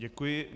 Děkuji.